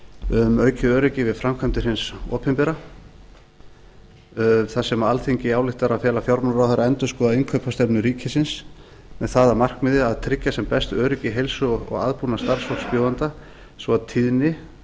um aukið öryggi við framkvæmdir hins opinbera þar sem frá þrjú hundruð sjötíu og fimm alþingi ályktar að fela fjármálaráðherra að endurskoða innkaupastefnu ríkisins með það að markmiði að a tryggja sem best öryggi heilsu og aðbúnað starfsfólks bjóðenda svo að tíðni